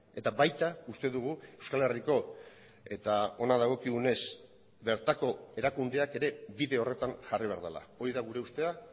eta baita uste dugu euskal herriko eta hona dagokigunez bertako erakundeak ere bide horretan jarri behar dela hori da gure ustea